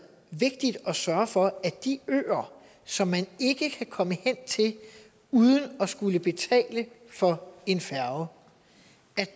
vigtigt at sørge for at de øer som man ikke kan komme hen til uden at skulle betale for en færge